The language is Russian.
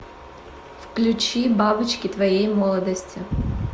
включи бабочки твоей молодости